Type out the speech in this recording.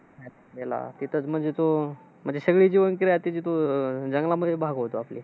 गेला तिथंच म्हणजे तो, म्हणजे सगळी जीवनक्रिया तिथं तो अह जंगलामध्ये भागवतो आपले.